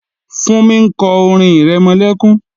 Fúnmi ń kọ́ orin-ìrẹmọlẹ́kún